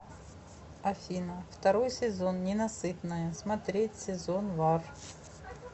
афина второй сезон ненасытная смотреть сезон вар